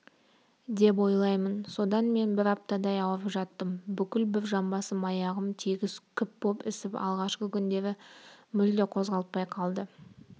деп ойлаймын содан мен бір аптадай ауырып жаттым бүкіл бір жамбасым аяғым тегіс күп боп ісіп алғашқы күндері мүлде қозғалтпай қалды